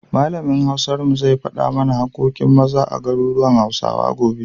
Malamin Hausar mu zai faɗa mana haƙƙoƙin Maza a garuruwan Hausawa, gobe.